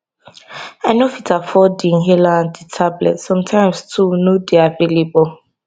i no fit afford di inhaler and di tablets sometimes too no dey available